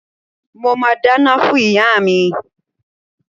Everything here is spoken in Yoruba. Mo máa dáná fún ìyá mi.